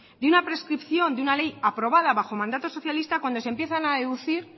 de una prescripción de una ley aprobada bajo mandato socialista cuando se empiezan a deducir